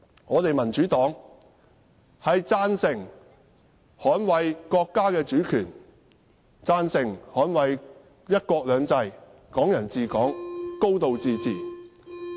我們民主黨贊成捍衞國家主權、"一國兩制"、"港人治港"、"高度自治"。